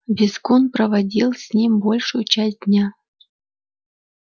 визгун проводил с ним большую часть дня